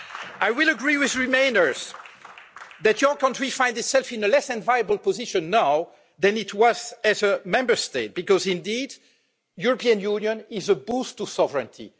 I will agree with remainers that your country finds itself in a less enviable position now than it was as a Member State, because indeed, European Union is a boost to sovereignty.